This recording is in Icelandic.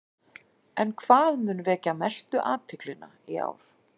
En hvað mun vekja mestu athyglina í ár?